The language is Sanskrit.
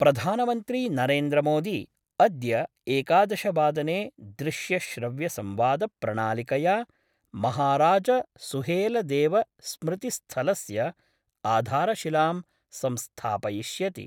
प्रधानमन्त्री नरेन्द्रमोदी अद्य एकादशवादने दृश्यश्रव्यसंवाद प्रणालिकया महाराजसुहेलदेव स्मृतिस्थलस्य आधारशिलां संस्थापयिष्यति।